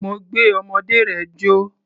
Mo gbé ọmọdé rẹ̀ jó.